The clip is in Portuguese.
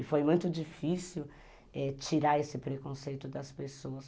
E foi muito difícil tirar esse preconceito das pessoas.